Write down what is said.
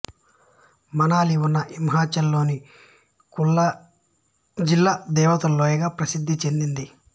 మనాలి ఉన్న హిమాచల్ లోని కులు జిల్లా దేవతల లోయగా ప్రసిద్ధిచెందింది